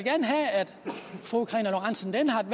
fru karina lorentzen dehnhardt